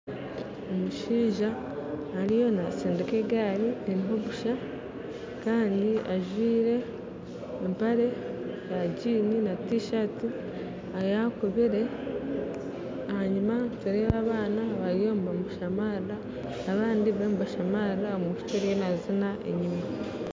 Omushaija ariyo nasindika egaari eriho busha kandi ajwaire empare ya Jini na tisati eyakubire enyuma nitureeba abaana bariyo nibamushamarira abandi bariyo nibashamarira omwishiki ariyo nazina enyima